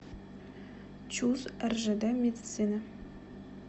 чуз ржд медицина